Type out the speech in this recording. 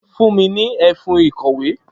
Fún mi ní e̩fun ìkò̩wé!